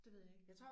Det ved jeg ikke